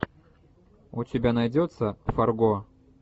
у тебя найдется фарго